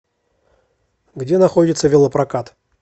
где находится велопрокат